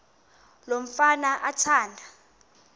lo mfana athanda